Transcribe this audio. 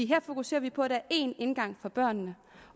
her fokuserer vi på at der er én indgang for børnene